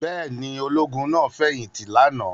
Bẹ́ẹ̀ ni, ológun náà fẹ̀yìntì lánàá.